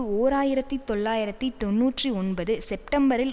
ஓர் ஆயிரத்தி தொள்ளாயிரத்தி தொன்னூற்றி ஒன்பது செப்டம்பரில்